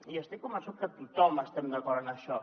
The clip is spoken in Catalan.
i estic convençut que tothom estem d’acord en això